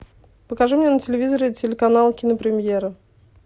покажи мне на телевизоре телеканал кинопремьера